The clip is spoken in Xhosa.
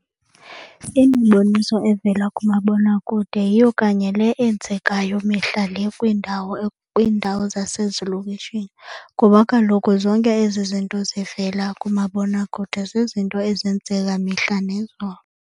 Imiboniso evela kumabonakude yiyo kanye le enzekayo mihla le kwiindawo zasezilokishini kuba kaloku zonke ezi zinto zivela kumabonakude zizinto ezenzeka mihla nezolo.